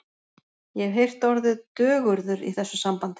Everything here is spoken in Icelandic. Ég hef heyrt orðið dögurður í þessu sambandi.